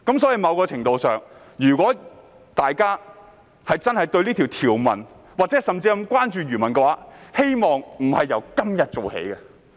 在某程度上，如果大家真的關注這項條文，甚至漁民，我希望不是由今天做起。